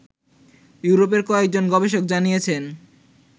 ইউরোপের কয়েকজন গবেষক জানিয়েছেন